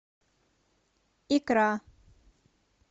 икра